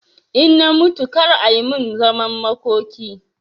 In na mutu kar a min zaman makoki